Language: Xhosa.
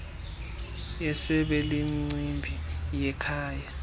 yesebe lemicimbi yekhaya